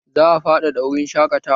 Za a faɗaɗa wurin shaƙatawa